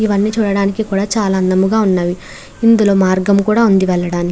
ఇవన్నీ చూడడానికి కూడా చాలా అందంగా ఉన్నవి. ఇందులో మార్గము కూడా ఉంది వెళ్ళడానికి.